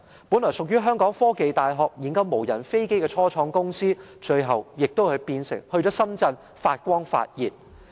本來屬於香港科技大學，研究無人飛機的初創公司，最後便選擇到深圳發光發熱。